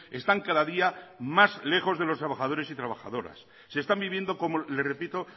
están cada día más lejos de los trabajadores y trabajadoras se están viviendo como le repito